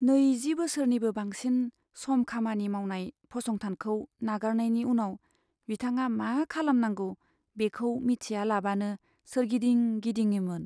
नैजि बोसोरनिबो बांसिन सम खामानि मावनाय फसंथानखौ नागारनायनि उनाव बिथाङा मा खालामनांगौ बेखौ मिथियालाबानो सोरगिदिं गिदिङोमोन।